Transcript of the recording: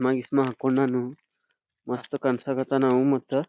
ಮಾ ಗಿಸ್ಮಾ ಆಕೊಂಡನೂ ಮಸ್ತ ಕಾಣ್ಸಕತ್ತನವು ಮತ್ತ.